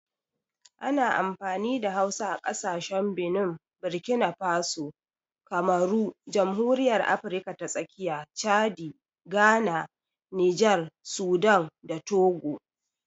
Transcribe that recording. Ana amfani da Hausa a kasashen Benin, Burkina Faso, Kamaru, Jamhuriyar Afirka ta Tsakiya, Chadi, Ghana, Nijar, Sudan, da Togo.